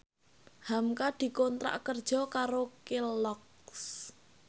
hamka dikontrak kerja karo Kelloggs